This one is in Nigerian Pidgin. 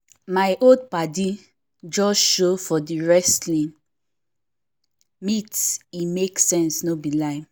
my old paddi just show for the wresting meet e make sense no be lie